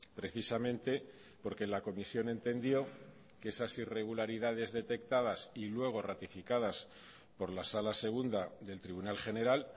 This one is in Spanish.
precisamente porque la comisión entendió que esas irregularidades detectadas y luego ratificadas por la sala segunda del tribunal general